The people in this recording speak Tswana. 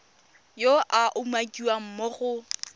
yo a umakiwang mo go